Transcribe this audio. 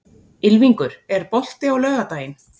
Ylfingur, er bolti á laugardaginn?